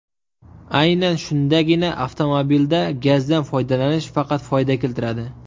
Aynan shundagina avtomobilda gazdan foydalanish faqat foyda keltiradi.